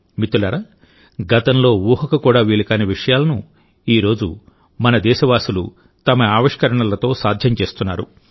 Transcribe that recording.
మిత్రులారా గతంలో ఊహకు కూడా వీలు కాని విషయాలను ఈ రోజు మన దేశవాసులు తమ ఆవిష్కరణలతో సాధ్యం చేస్తున్నారు